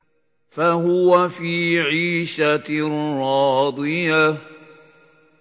فَهُوَ فِي عِيشَةٍ رَّاضِيَةٍ